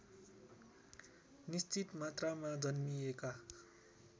निश्चित मात्रामा जन्मिएका